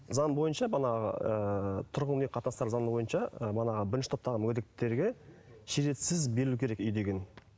заң бойынша манағы ыыы тұрғын үй қатыныстары заңы манағы бойынша бірінші топтағы мүгедектерге берілу керек үй деген